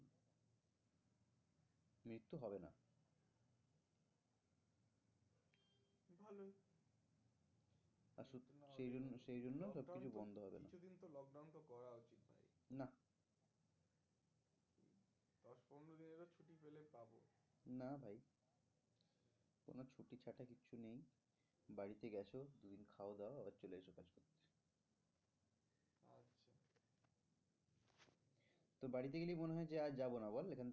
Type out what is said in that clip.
তোর বাড়িতে গেলেই মনে হয় যে আর যাবো না বল এখান থেকে